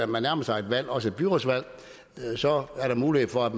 man nærmer sig et valg også et byrådsvalg er der mulighed for at